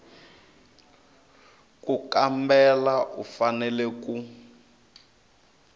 ku kambela u fanele ku